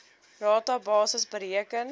rata basis bereken